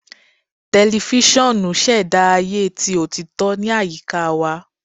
Tẹlifisiọnu ṣẹda aye ti otito ni ayika wa